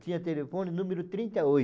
Tinha telefone número trinta e